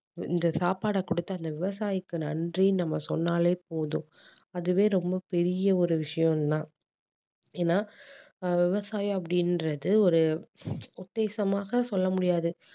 இந்த சாப்பாட கொடுத்த அந்த விவசாயிக்கு நன்றி நம்ம சொன்னாலே போதும் அதுவே ரொம்ப பெரிய ஒரு விஷயந்தான் ஏன்னா ஆஹ் விவசாயி அப்படீன்றது ஒரு உத்தேசமாக சொல்ல முடியாது